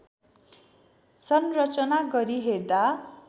संरचना गरी हेर्दा